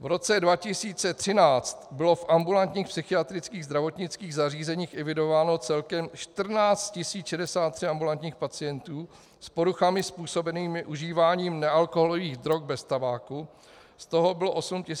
V roce 2013 bylo v ambulantních psychiatrických zdravotnických zařízeních evidováno celkem 14 063 ambulantních pacientů s poruchami způsobenými užíváním nealkoholových drog bez tabáku, z toho bylo 8 970 mužů a 5 093 žen.